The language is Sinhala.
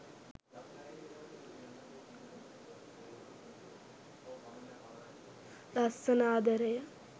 lassana adaraya